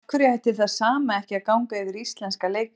Af hverju ætti það sama ekki að ganga yfir íslenska leikmenn?